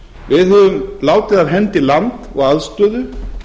við höfum látið af hendi land og aðstöðu